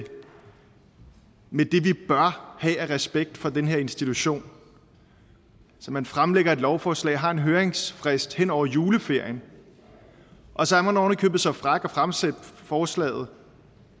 vi bør have af respekt for den her institution man fremlægger et lovforslag og har en høringsfrist hen over juleferien og så er man oven i købet så fræk at fremsætte forslaget